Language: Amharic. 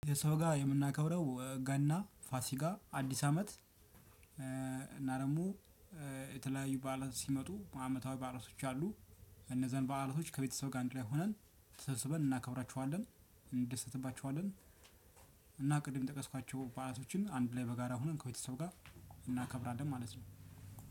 የሰው ጋር የምናከብረው ገና ፋሲጋ አዲስ አመት እና ደግሞ የተለያዩ በዓላት ሲመጡ አመታዊ በዓላቶች አሉ። እነዚህን በዓላቶች ከቤተሰብ ጋር አንድ ላይ ሆነን ተሰብስበን እናከብራቸዋለን እንደሰትባችኋለን። እና ቅድም የጠቀስኳቸው በዐላቶችን አንድ ላይ በጋራ ሆነን ከቤተሰብ ጋር እናከብራለን ማለት ነው።